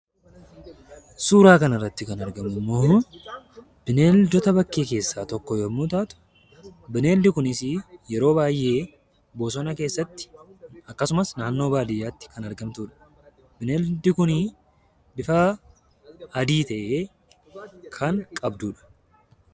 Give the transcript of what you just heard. Suura kanarratti kan argamu immoo bineeldota bakkee keessaa tokko yommuu taatu, bineeldi kunis yeroo baay'ee bosona keessatti akkasumas naannoo baadiyyaatti kan argamtudha. Bineeldi kun bifa adii ta'e kan qabdudha.